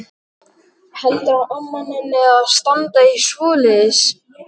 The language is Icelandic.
Heldurðu að amma nenni að standa í svoleiðis?